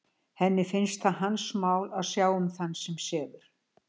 Henni finnst það hans mál að sjá um þann sem sefur.